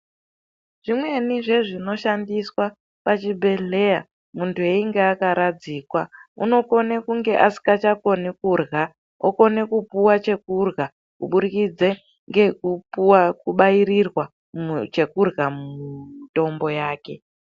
Zvimweni zvezvinoshandiswa pazvibhedhleya muntu einge akaradzikwa, unokone kunge asikachakoni kurya, okone kupuwa chekurya kuburikidze ngekupuwe, kubairirwa chekurya mumutombo yake.